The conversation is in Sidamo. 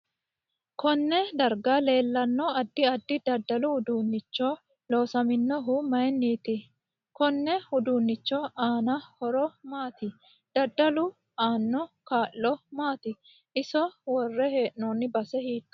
Konne darga leelanno addi addi dadalu uduunichi loosaminohu mayiiniti konne uduunichi aano horo maati dadalu aano kaa'lo maati iso worre heenooni base hiitoote